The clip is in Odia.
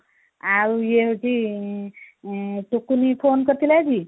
ଆଉ ଇଏ ହଉଚି ଅଁ ଟୁକୁନି phone କରିଥିଲା ଆଜି ?